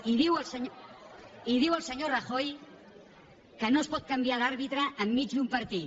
i diu el senyor rajoy que no es pot canviar d’àrbitre enmig d’un partit